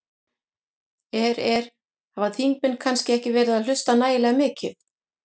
Er, er, hafa þingmenn kannski ekki verið að hlusta nægilega mikið?